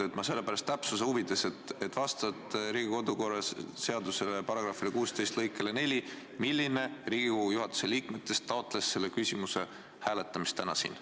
Sellepärast palun öelge täpsuse huvides, kes juhatuse liikmetest taotles vastavalt Riigikogu kodu- ja töökorra seaduse § 16 lõikele 4 selle küsimuse hääletamist täna siin.